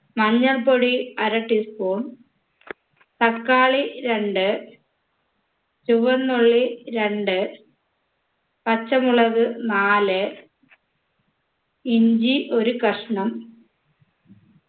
മഞ്ഞൾപ്പൊടി അര tea spoon തക്കാളി രണ്ട് ചുവന്നുള്ളി രണ്ട് പച്ചമുളക് നാല് ഇഞ്ചി ഒരു കഷ്ണം